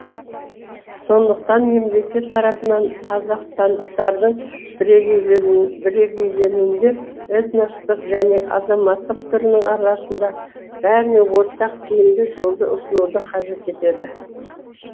сондықтан мемлекет тарапынан қазақстандықтардың бірегейленуінде этностық және азаматтық түрінің арасында бәріне ортақ тиімді жолды ұсынуды қажет етеді